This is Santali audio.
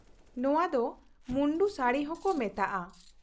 ᱱᱚᱶᱟ ᱫᱚ ᱢᱩᱱᱰᱩ ᱥᱟᱹᱲᱤ ᱦᱚᱸᱠᱚ ᱢᱮᱛᱟᱜᱼᱟ ᱾